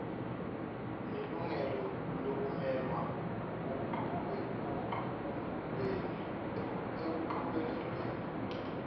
nelungelo lokumelwa ekucubungulweni